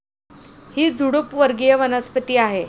ही झुडूप वर्गीय वनस्पती आहे.